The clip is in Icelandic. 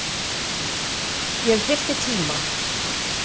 Ég þyrfti tíma.